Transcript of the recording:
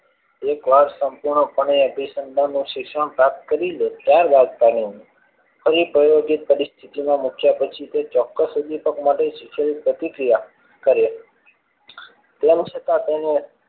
એકવાર સંપૂર્ણપણે પણે અભિસંધાન નું શિક્ષણ પ્રાપ્ત કરી લે ત્યારબાદ પણે પ્રાયોગિક પરિસ્થિતિ માં મથ્યા પછી ચોક્કસ ઉપ્દીપ્ક માટે પ્રતિક્રિયા કરે તેમ છતાં તેનું